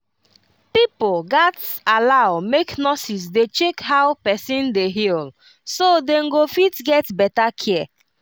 pipo gats allow make nurses dey check how person dey heal so dem go fit get better care